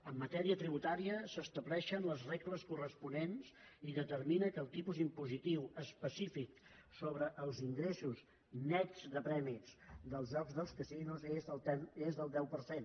en matèria tributària s’estableixen les regles corresponents i determina que el tipus impositiu específic sobre els ingressos nets de premis dels jocs dels casinos és del deu per cent